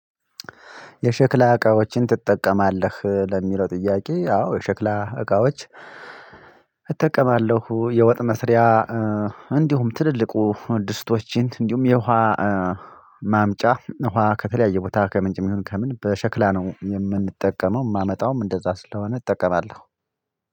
የሸክላ እቃዎችን ትጠቀማለህ? ለሚለው ጥያቄ አዎ የሸክላ እቃዎች እጠቀማለሁ። የወጥ መስሪያ እንዲሁም ትልልቁ ድስቶችን እንዲሁም የውሃ"" ማምጫ ውሃ ከተለያየ ቦታ ከምንጭም ይሁን ከምን በሸክላ ነው የምንጠቀመው የማመጣውም እንደዛ ስለሆነ እጠቀማለሁ።